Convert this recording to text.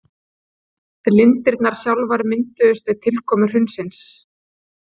Lindirnar sjálfar mynduðust við tilkomu hraunsins.